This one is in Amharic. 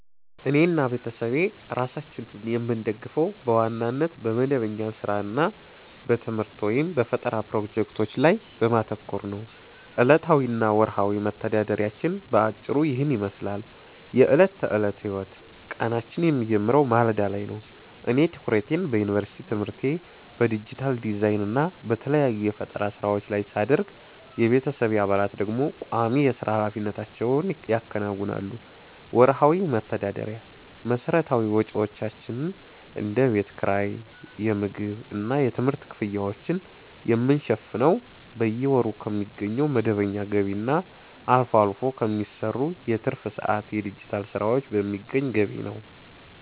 እኔና ቤተሰቤ ራሳችንን የምንደግፈው በዋናነት በመደበኛ ሥራ እና በትምህርት/በፈጠራ ፕሮጀክቶች ላይ በማተኮር ነው። ዕለታዊ እና ወርሃዊ መተዳደሪያችን በአጭሩ ይህንን ይመስላል፦ የዕለት ተዕለት ሕይወት፦ ቀናችን የሚጀምረው ማለዳ ላይ ነው። እኔ ትኩረቴን በዩኒቨርሲቲ ትምህርቴ፣ በዲጂታል ዲዛይን እና በተለያዩ የፈጠራ ሥራዎች ላይ ሳደርግ፣ የቤተሰቤ አባላት ደግሞ ቋሚ የሥራ ኃላፊነቶቻቸውን ያከናውናሉ። ወርሃዊ መተዳደሪያ፦ መሠረታዊ ወጪዎቻችንን (እንደ ቤት ኪራይ፣ የምግብ እና የትምህርት ክፍያዎችን) የምንሸፍነው በየወሩ ከሚገኘው መደበኛ ገቢ እና አልፎ አልፎ ከሚሰሩ የትርፍ ሰዓት የዲጂታል ሥራዎች በሚገኝ ገቢ ነው።